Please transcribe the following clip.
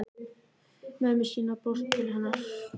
Mömmu sína sem brosir til hennar.